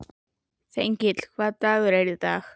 Þengill, hvaða dagur er í dag?